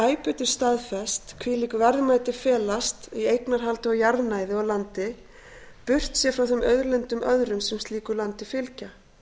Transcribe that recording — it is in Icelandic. betur staðfest hvílík verðmæti felast í eignarhaldi á jarðnæði og landi burtséð frá þeim auðlindum öðrum sem slíku landi fylgja